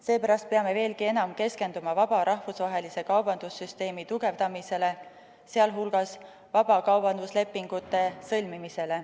Seepärast peame veelgi enam keskenduma vaba rahvusvahelise kaubandussüsteemi tugevdamisele, sh vabakaubanduslepingute sõlmimisele.